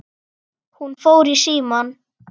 Hún fór í símann.